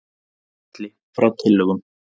Falli frá tillögum